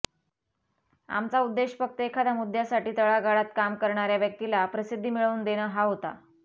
आमचा उद्देश फक्त एखाद्या मुद्द्यासाठी तळागाळात काम करणाऱ्या व्यक्तीला प्रसिद्धी मिळवून देणं हा होता